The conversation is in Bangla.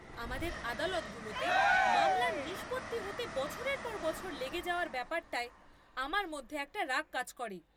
আমাদের আদালতগুলোতে মামলার নিষ্পত্তি হতে বছরের পর বছর লেগে যাওয়ার ব্যাপারটায় আমার মধ্যে একটা রাগ কাজ করে।